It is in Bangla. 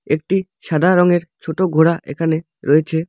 একটি সাদা রঙের ছোট ঘোড়া এখানে রয়েছে।